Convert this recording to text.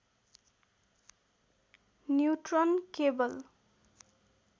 neutron केवल